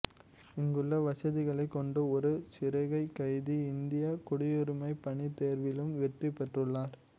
இங்குள்ள வசதிகளைக் கொண்டு ஒரு சிறைக்கைதி இந்தியக் குடியுரிமைப் பணி தேர்விலும் வெற்றி பெற்றுள்ளார்